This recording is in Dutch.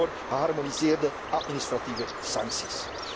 Zorg ook voor geharmoniseerde administratieve sancties.